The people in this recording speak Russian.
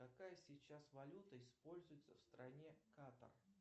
какая сейчас валюта используется в стране катар